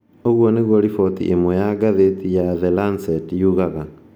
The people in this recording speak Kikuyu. Ũguo nĩguo riboti ĩmwe ya ngathĩti ya The Lancet yugaga.